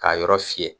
K'a yɔrɔ fiyɛ